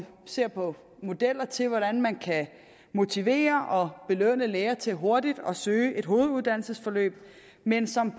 ser på modeller til hvordan man kan motivere og belønne læger til hurtigt at søge et hoveduddannelsesforløb men som